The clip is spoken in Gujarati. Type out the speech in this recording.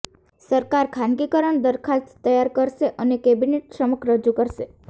સરકાર ખાનગીકરણ દરખાસ્ત તૈયાર કરશે અને કેબિનેટ સમક્ષ રજૂ કરશે